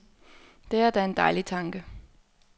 Det er da en dejlig tanke.